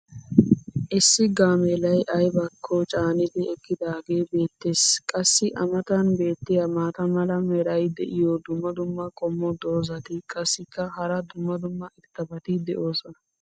issi gaameellay aybakko caanidi eqaagee beetees. qassi a matan beetiya maata mala meray diyo dumma dumma qommo dozzati qassikka hara dumma dumma irxxabati doosona.